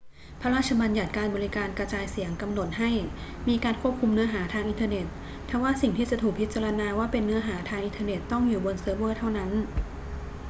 พระราชบัญญัติการบริการกระจายเสียงกำหนดให้มีการควบคุมเนื้อหาทางอินเทอร์เน็ต ทว่าสิ่งที่จะถูกพิจารณาว่าเป็นเนื้อหาทางอินเทอร์เน็ตต้องอยู่บนเซิร์ฟเวอร์เท่านั้น